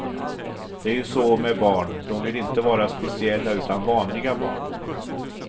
Det är ju så med barn, dom vill inte vara speciella utan vanliga barn.